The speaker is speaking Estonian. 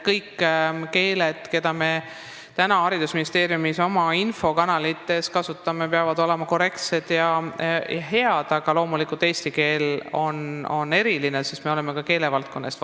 Kõiki keeli, mida me haridusministeeriumi infokanalites kasutame, peab kasutama korrektselt ja hästi, aga loomulikult on eesti keel eriline, sest me vastutame ka keelevaldkonna eest.